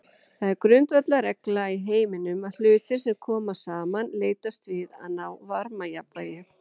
Það er grundvallarregla í heiminum að hlutir sem koma saman leitast við að ná varmajafnvægi.